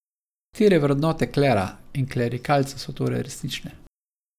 Katere vrednote klera in klerikalcev so torej resnične?